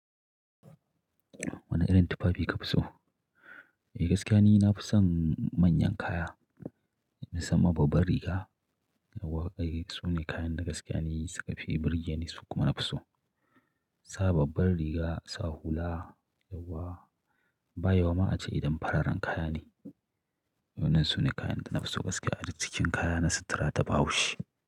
Wane irin tufafi ka fi so? Eh gaskiya ni nafi son manyan kaya, musaman babbar riga, yauwa. Ai su ne kayan da gaskiya ni suka fi burge ni su kuma na fi so. Sa babbar riga, sa hula, yauwa. Ba yau ma ace idan fararen kaya ne. Waɗannan sune kayan da na fi so gaskiya a duk cikin kayana na sutura ta Bahaushe.